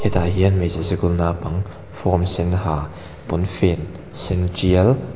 hetah hian hmeichhe sikul naupang form sen ha pawnfen sen tial--